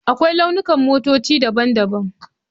Akwai launukan motoci daban-daban.